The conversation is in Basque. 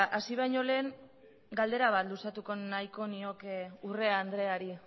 hasi baino lehen galdera bat luzatuko nahiko nioke urrea andreari